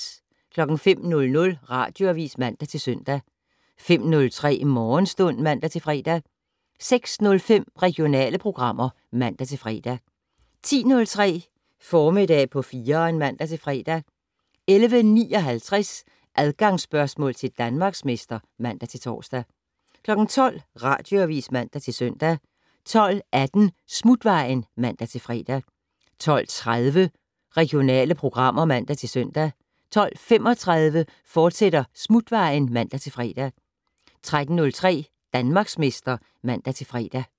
05:00: Radioavis (man-søn) 05:03: Morgenstund (man-fre) 06:05: Regionale programmer (man-fre) 10:03: Formiddag på 4'eren (man-fre) 11:59: Adgangsspørgsmål til Danmarksmester (man-tor) 12:00: Radioavis (man-søn) 12:18: Smutvejen (man-fre) 12:30: Regionale programmer (man-søn) 12:35: Smutvejen, fortsat (man-fre) 13:03: Danmarksmester (man-fre)